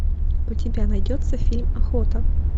у тебя найдется фильм охота